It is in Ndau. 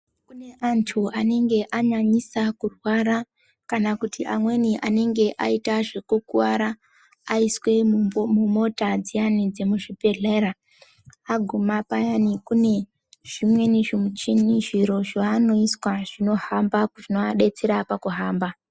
Antu anenge anyanyisa kurwara kana kuti amweni anenge aita zvekukuwara aiswe mumota dziyani dzemuzvibhehlera aguma payani kune zvimweni zvimuchini zviro zvanoiswa zvinohamba zvinoadetsera pakuhamba.